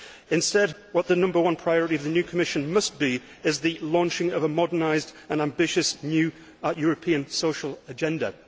Instead, what the number one priority of the new Commission must be is the launching of a modernised and ambitious new European social agenda.